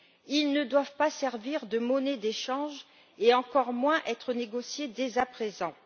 Ils ne doivent pas servir de monnaie d'échange, et encore moins être négociés dès à présent.